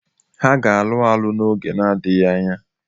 Ha ga-alụ alu n'oge na-adịghị anya.